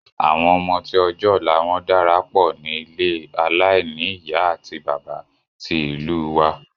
Àwọn ọmọ tí ọjọ́ ọ̀la wọn dára pọ̀ ní ilé aláìní ìyá àti bàbá ti ìlú u wa